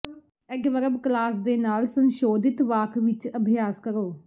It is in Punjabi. ਐਡਵਰਬ ਕਲਾਜ਼ ਦੇ ਨਾਲ ਸੰਸ਼ੋਧਿਤ ਵਾਕ ਵਿਚ ਅਭਿਆਸ ਕਰੋ